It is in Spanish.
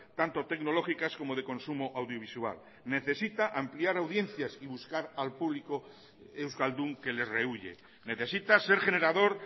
tanto tecnológicas como de consumo audiovisual necesita ampliar audiencias y buscar al público euskaldun que le rehúye necesita ser generador